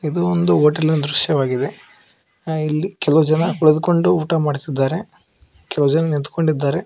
ಇದು ಒಂದು ಹೋಟೆಲಿನ ದೃಶ್ಯವಾಗಿದೆ ಇಲ್ಲಿ ಕೆಲವು ಜನ ಕುಳಿತ್ಕೊಂಡು ಊಟ ಮಾಡ್ತಾ ಇದ್ದಾರೆ ಕೆಲವು ಜನ ನಿಂತ್ಕೊಂಡಿದ್ದಾರೆ.